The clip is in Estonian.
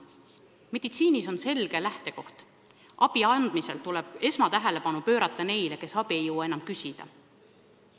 Meditsiinis kehtib selge lähtekoht: abi andmisel tuleb esmatähelepanu pöörata neile, kes abi ei jõua enam küsida.